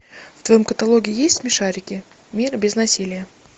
в твоем каталоге есть смешарики мир без насилия